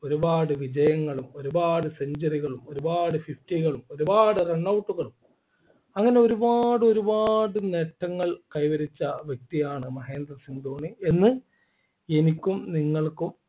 ഒരുപാട് വിജയങ്ങളും ഒരുപാട് Century കളും ഒരുപാട് fifty കളും ഒരുപാട് Runout കളും അങ്ങനെ ഒരുപാട് ഒരുപാട് നേട്ടങ്ങൾ കൈവരിച്ച വ്യക്തിയാണ് മഹേന്ദ്ര സിംഗ് ധോണി എന്ന് എനിക്കും നിങ്ങൾക്കും